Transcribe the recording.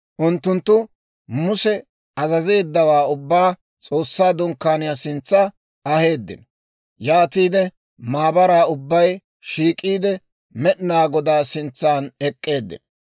Unttunttu Muse azazeeddawaa ubbaa S'oossaa Dunkkaaniyaa sintsa aheeddino; yaatiide maabaraa ubbay shiik'iide, Med'inaa Godaa sintsan ek'k'eeddino.